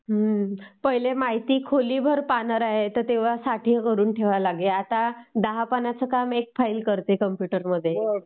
पहिले माहिती खोलीभर पानं राहायची.....तेव्हा सारखं भरुन ठेवाय लागे.. पण आता दहा पानांचं काम एक फाइल करते कम्प्युटरमध्ये